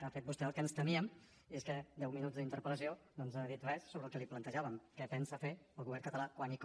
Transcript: ha fet vostè el que ens temíem i és que en deu minuts d’interpel·lació no ens ha dit res sobre el que li plantejàvem què pensa fer el govern català quan i com